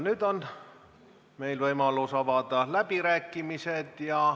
Nüüd on meil võimalus avada läbirääkimised.